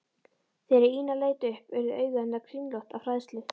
Þegar Ína leit upp urðu augu hennar kringlótt af hræðslu.